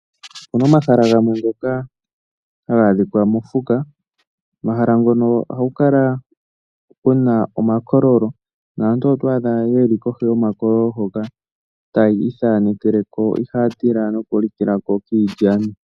Opuna omahala gamwe ngoka haga adhika mokuti. Omahala ngono ohaku kala kuna omakololo naantu oto adha yeli kohi yomakololo hoka tayi ithanekele ko. Ihaa tila noku lika kiilyani.